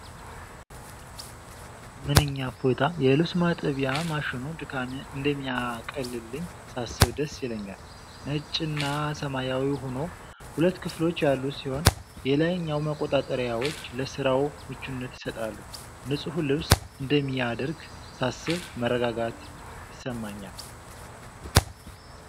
ምንኛ እፎይታ! የልብስ ማጠቢያ ማሽኑ ድካሜን እንደሚያቀልልኝ ሳስብ ደስ ይለኛል። ነጭና ሰማያዊ ሆኖ ። ሁለት ክፍሎች ያሉት ሲሆን የላይኛው መቆጣጠሪያዎች ለስራው ምቹነት ይሰጣሉ። ንጹህ ልብስ እንደሚያደርግ ሳስብ መረጋጋት ይሰማኛል!።